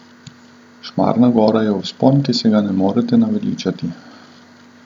Šmarna gora je vzpon, ki se ga ne morete naveličati.